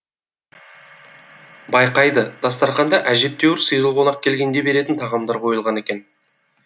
байқайды дастарханда әжептәуір сыйлы қонақ келгенде беретін тағамдар қойылған екен